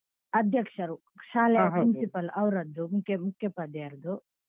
ಅಧ್ಯಕ್ಷರು ಶಾಲೆ ಅಧ್ಯಕ್ಷರು principal ಅವ್ರದ್ದು ಮುಖ್ಯೋಪಾಧ್ಯಾಯರದ್ದು